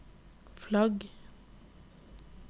flagg